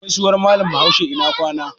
Gaisuwan Mallam Bahaushe "ina kwana".